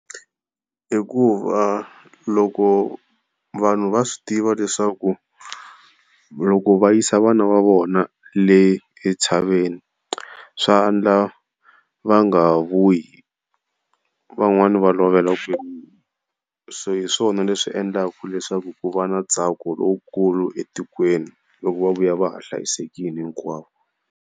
Hikuva loko vanhu va swi tiva leswaku loko va yisa vana va vona le etshaveni swa endleka va nga ha vuyi van'wani va lovela kwele se hiswona leswi endlaka leswaku ku va na ntsako lowukulu etikweni loko va vuya va ha hlayisekile hinkwavo.